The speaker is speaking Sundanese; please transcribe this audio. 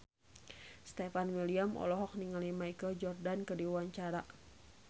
Stefan William olohok ningali Michael Jordan keur diwawancara